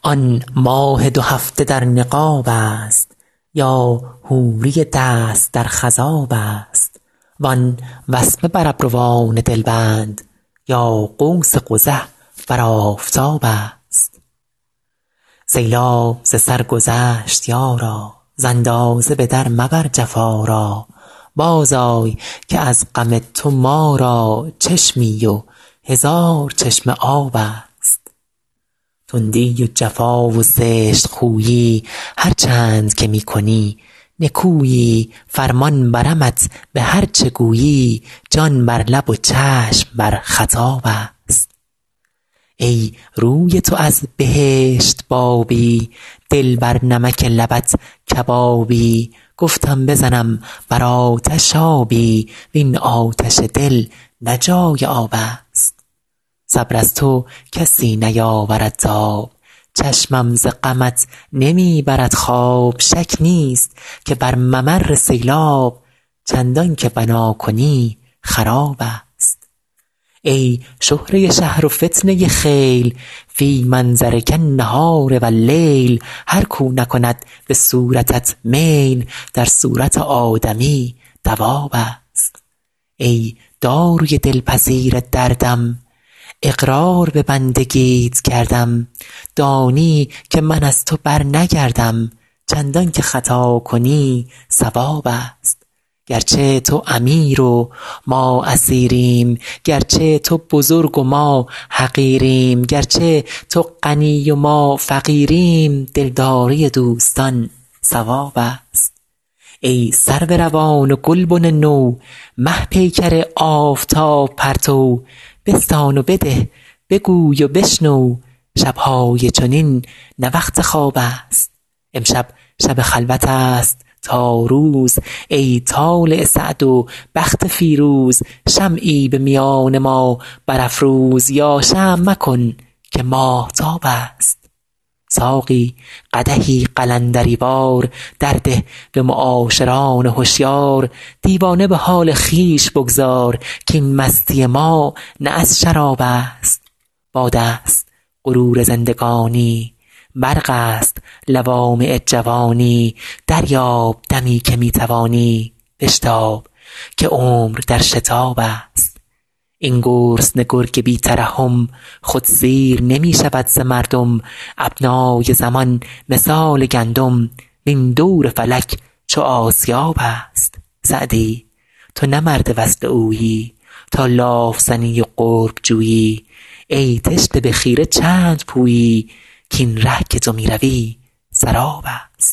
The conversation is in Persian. آن ماه دو هفته در نقاب است یا حوری دست در خضاب است وان وسمه بر ابروان دلبند یا قوس قزح بر آفتاب است سیلاب ز سر گذشت یارا ز اندازه به در مبر جفا را بازآی که از غم تو ما را چشمی و هزار چشمه آب است تندی و جفا و زشت خویی هرچند که می کنی نکویی فرمان برمت به هر چه گویی جان بر لب و چشم بر خطاب است ای روی تو از بهشت بابی دل بر نمک لبت کبابی گفتم بزنم بر آتش آبی وین آتش دل نه جای آب است صبر از تو کسی نیاورد تاب چشمم ز غمت نمی برد خواب شک نیست که بر ممر سیلاب چندان که بنا کنی خراب است ای شهره شهر و فتنه خیل فی منظرک النهار و اللیل هر کاو نکند به صورتت میل در صورت آدمی دواب است ای داروی دلپذیر دردم اقرار به بندگیت کردم دانی که من از تو برنگردم چندان که خطا کنی صواب است گرچه تو امیر و ما اسیریم گرچه تو بزرگ و ما حقیریم گرچه تو غنی و ما فقیریم دلداری دوستان ثواب است ای سرو روان و گلبن نو مه پیکر آفتاب پرتو بستان و بده بگوی و بشنو شب های چنین نه وقت خواب است امشب شب خلوت است تا روز ای طالع سعد و بخت فیروز شمعی به میان ما برافروز یا شمع مکن که ماهتاب است ساقی قدحی قلندری وار در ده به معاشران هشیار دیوانه به حال خویش بگذار کاین مستی ما نه از شراب است باد است غرور زندگانی برق است لوامع جوانی دریاب دمی که می توانی بشتاب که عمر در شتاب است این گرسنه گرگ بی ترحم خود سیر نمی شود ز مردم ابنای زمان مثال گندم وین دور فلک چو آسیاب است سعدی تو نه مرد وصل اویی تا لاف زنی و قرب جویی ای تشنه به خیره چند پویی کاین ره که تو می روی سراب است